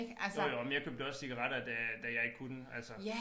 Jo jo og men jeg købte også cigaretter da da jeg ikke kunne altså